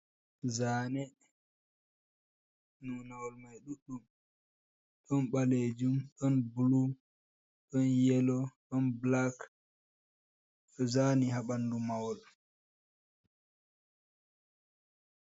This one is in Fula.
Zaane nunawol mai ɗuɗɗum, ɗon ɓalejum, ɗon blu ɗon ɗon yelo, ɗon black, zani ha ɓanɗu mahol.